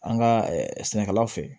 An ka sɛnɛkɛlaw fɛ